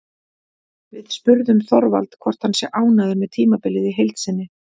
Við spurðum Þorvald hvort hann sé ánægður með tímabilið í heild sinni?